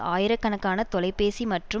ஆயிரக்கணக்கான தொலைபேசிக் மற்றும்